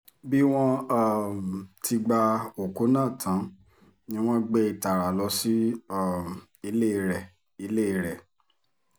bí wọ́n um ti gba òkú náà tán ni wọ́n gbé e tààrà lọ sí um ilé rẹ̀ ilé rẹ̀